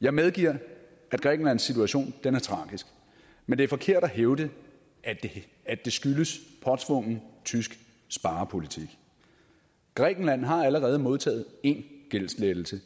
jeg medgiver at grækenlands situation er tragisk men det er forkert at hævde at det skyldes påtvungen tysk sparepolitik grækenland har allerede modtaget én gældslettelse